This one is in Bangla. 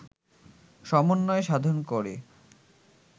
সমন্বয় সাধন করে